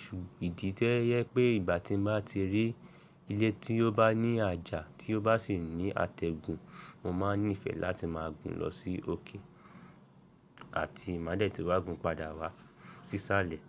Ṣù ìdí tẹ́ yẹ pé ìgbà tí mo bá ti rí ilé tí ó bá ní àjà tí ó bá sì ní àtẹ̀gùn, mo máa nífẹ̀ẹ́ láti máa gun lọ sí òkè àti má dẹ̀ tí wa gun padà wá sísálẹ̀.